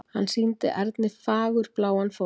Hann sýndi Erni fagurbláan fótlegg.